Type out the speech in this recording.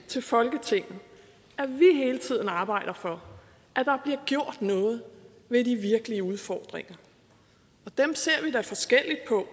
til folketinget hele tiden arbejder for at der bliver gjort noget ved de virkelige udfordringer og dem ser vi da forskelligt på